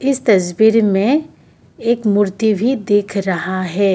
तस्वीर में एक मूर्ति भी दिख रहा है।